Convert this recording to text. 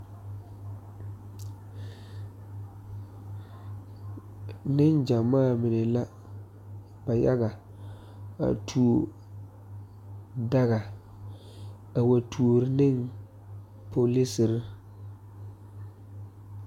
Neŋ gyamaa mine la ba yaga a tuo daga a wa tuori neŋ polisere.